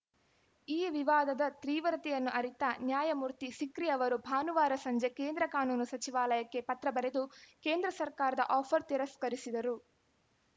ಈ ವಿವಾದದ ತೀವ್ರತೆಯನ್ನು ಅರಿತ ನ್ಯಾಯಮೂರ್ತಿ ಸಿಕ್ರಿ ಅವರು ಭಾನುವಾರ ಸಂಜೆ ಕೇಂದ್ರ ಕಾನೂನು ಸಚಿವಾಲಯಕ್ಕೆ ಪತ್ರ ಬರೆದು ಕೇಂದ್ರ ಸರಕಾರದ ಆಫರ್‌ ತಿರಸ್ಕರಿಸಿದರು